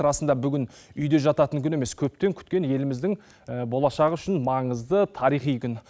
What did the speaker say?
расында бүгін үйде жататын күн емес көптен күткен еліміздің болашағы үшін маңызды тарихи күн